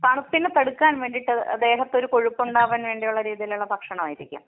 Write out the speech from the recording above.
തണുപ്പിനെ തടുക്കാൻ വേണ്ടിയിട്ട് ദേഹത്തൊരു കൊഴുപ്പുണ്ടാവാൻ വേണ്ടിയുള്ള രീതിയിലുള്ള ഭക്ഷണം ആയിരിക്കും.